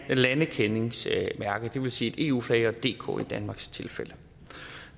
landekendingsmærke det vil sige et eu flag og dk i danmarks tilfælde